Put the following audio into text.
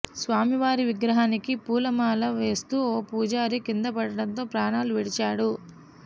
స్వామివారి విగ్రహానికి పూలమాల వేస్తూ ఓ పూజారి కిందపడడంతో ప్రాణాలు విడిచాడు